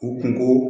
U kunko